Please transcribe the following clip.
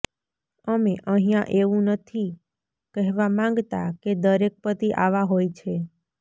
અમે અહિયાં એવું નથી કહેવા માંગતા કે દરેક પતિ આવા હોય છે